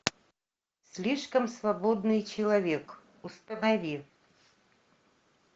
слишком свободный человек установи